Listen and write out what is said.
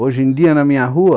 Hoje em dia, na minha rua,